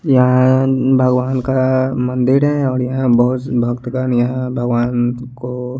यहाँं भगवान का मंदिर है और यहाँं बोहोस भक्तगन यहाँं भगवान को --